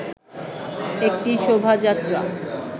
একটি শোভাযাত্রা